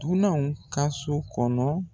Dunananw ka so kɔnɔ.